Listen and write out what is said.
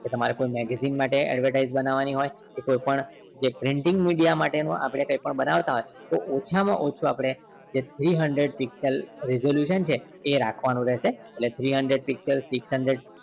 કે તમારે કોઈ magazine માટે advertise બનાવાની હોય કે કોઈપણ printing media માટે કંઈ પણ બનાવતા હોય તો ઓછા માં ઓછુ આપણે જે three hundred pixel resolution છે એ રાખવાનું રહેશે એટલે three hundred pixel six hundared